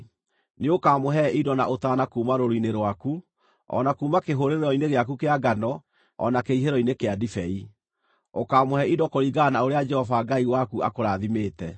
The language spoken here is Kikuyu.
Nĩũkamũhe indo na ũtaana kuuma rũũru-inĩ rwaku, o na kuuma kĩhũrĩro-inĩ gĩaku kĩa ngano o na kĩhihĩro-inĩ kĩa ndibei. Ũkaamũhe indo kũringana na ũrĩa Jehova Ngai waku akũrathimĩte.